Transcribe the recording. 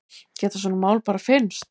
Geta svona mál bara fyrnst?